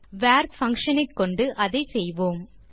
வர் function ஐ கொண்டு அதை செய்வோம்